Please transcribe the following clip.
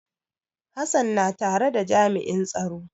Hassan na tare da jami'in tsaro.